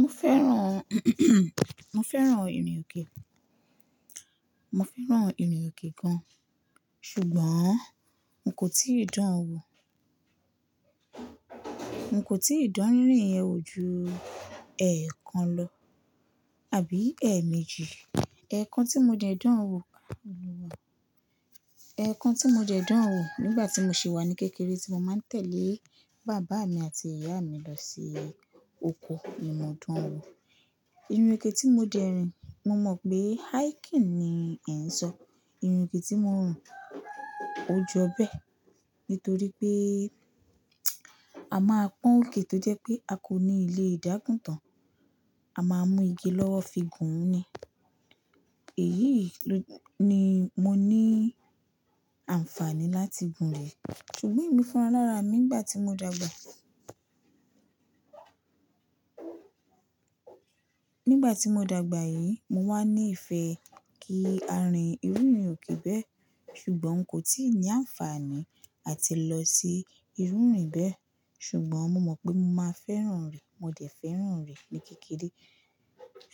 Mo fẹ́ràn, mo fẹ́ràn ìrìn òkè. Mo fẹ́ràn ìrìn òkè gan-an. Ṣùgbọ́n n kò tíì dán an wò. N kò tíì dán rírìn yẹn wò ju ẹẹkan lọ, àbí ẹẹmejì. Ẹ̀ẹ̀kan tí mo jẹ dán an wò ẹ̀ẹ̀kan tí mo dẹ dán an wò nígbà tí mo ṣì wà ní kékeré tí mo máa ń tẹ̀lé bàbá mi àti ìyá mi lọ sí oko nì mọ̀dán wò. Ìrìn òkè tí mo jẹ rìn, mo mọ̀ pé hiking ni ẹ̀ ń sọ. Ìrìn òkè tí mo ń rin ò jọ bẹ́ẹ̀ nítorí pé a máa pọ́n òkè tó jẹ́ pé a kò níi lé dá̀gún tán. A máa mú igi lọ́wọ́ fi gùn ún ni. Èyí ni mo ní àǹfààní láti gùn rẹ̀. Ṣùgbọ́n èmi fún ra a lára mi nígbà tí mo dàgbà. Nígbà tí mo dàgbà yìí, mo wá ní ìfẹ́ kí a rìn irú ìrìn òkè bẹ́ẹ̀ ṣùgbọ́n n kò tíì ní àǹfààní àti lọ sí ìrù ìrìn bẹ́ẹ̀. Ṣùgbọ́n mo mọ̀ pé mo máa fẹ́ràn rẹ, mo dẹ̀ fẹ́ràn rí ní kékeré.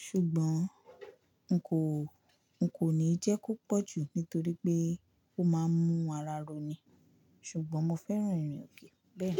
Ṣùgbọ́n n kò, n kò níí jẹ́ kó pọ̀ jù nítorí pé ó máa ń mú ara ro ni. Ṣùgbọ́n mo fẹ́ràn ìrìn òkè bẹ́ẹ̀.